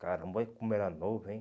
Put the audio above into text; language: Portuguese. Caramba, olha como era novo, hein?